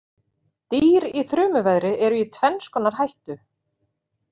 Dýr í þrumuveðri eru í tvenns konar hættu.